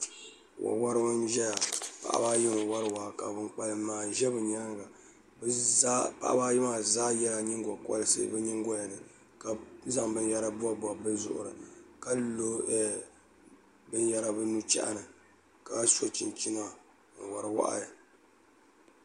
wo woribi n ʒɛya paɣaba ayi n wori waa ka bin kpalim maa ʒɛ bi nyaanga paɣaba ayi maa zaa yɛla nyingokorisi bi nyingoya ni ka zaŋ binyɛra bobbob bi zuɣuri ka lo binyɛra bi nu chɛhi ni ka so chinchina n wori wahi